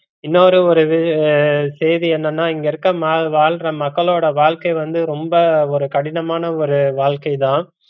இன்னொரு ஒரு செய்தி என்னனா இங்க இருக்கற வாழ்ற மாக்களோட வாழ்க்கை வந்து ரொம்ப ஒரு கடினான ஒரு வாழ்க்கை தான்